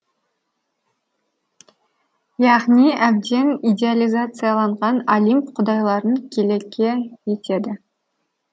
яғни әбден идеялизацияланған олимп құдайларын келеке етеді